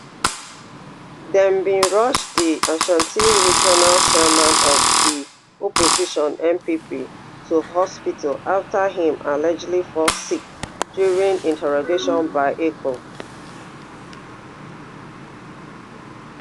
dem bin rush di ashanti regional chairman of di opposition npp to hospital afta im allegedly fall sick during interrogation by eoco